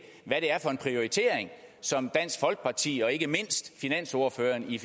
hvad det er for en prioritering som dansk folkeparti og ikke mindst finansordføreren i